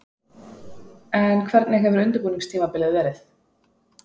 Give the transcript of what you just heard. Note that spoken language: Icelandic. En hvernig hefur undirbúningstímabilið verið?